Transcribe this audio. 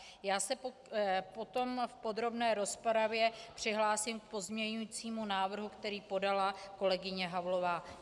Já se potom v podrobné rozpravě přihlásím k pozměňujícímu návrhu, který podala kolegyně Havlová.